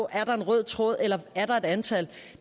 er en rød tråd eller om er et antal